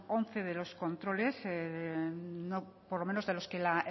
once de los controles por lo menos de los que la